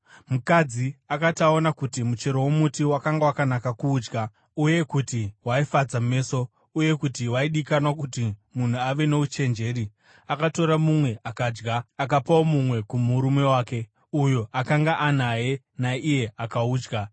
Mukadzi akati aona kuti muchero womuti wakanga wakanaka kuudya uye kuti waifadza meso, uye kuti waidikanwa kuti munhu ave nouchenjeri, akatora mumwe akadya. Akapawo mumwe kumurume wake, uyo akanga anaye, naiye akaudya.